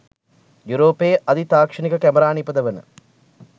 යුරෝපයේ අධි තාක්ෂණික කැමරා නිපදවන